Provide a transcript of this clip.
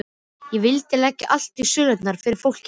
Ég vildi leggja allt í sölurnar fyrir fólkið mitt.